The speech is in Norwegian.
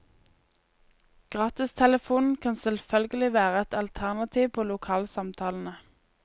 Gratistelefonen kan selvfølgelig være et alternativ på lokalsamtalene.